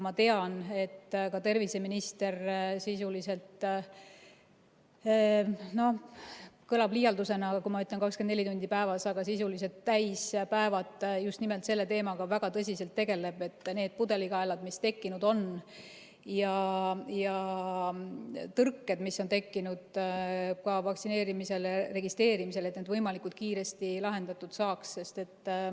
Ma tean, et ka terviseminister sisuliselt – see kõlab küll liialdusena, kui ma ütlen, et 24 tundi päevas – täispäevad just nimelt selle teemaga väga tõsiselt tegeleb, et need pudelikaelad, mis tekkinud on, ja tõrked, mis on tekkinud ka vaktsineerimisele registreerimisel, võimalikult kiiresti lahendatud saaks.